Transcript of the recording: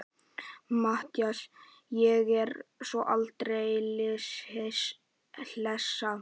MATTHÍAS: Ég er svo aldeilis hlessa.